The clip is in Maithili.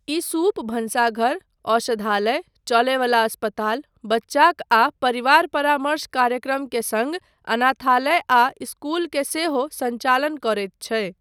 ई सूप भनसाघर, औषधालय, चलयवला अस्पताल, बच्चाक आ परिवार परामर्श कार्यक्रम के सङ्ग अनाथालय आ इस्कूल के सेहो सञ्चालन करैत छै।